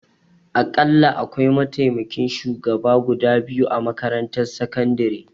Akalla akwai mataimakan shugaba guda biyu a makarantar sakandare